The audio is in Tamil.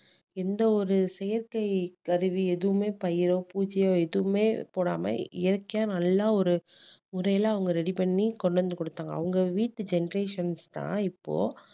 எந்த ஒரு செயற்கை கருவி எதுவுமே பயிரோ பூச்சியோ எதுவுமே போடாம இயற்கையா நல்லா ஒரு முறையில அவங்க ready பண்ணி கொண்டு வந்து டுத்தாங்க அவங்க வீட்டு generations தான் இப்போ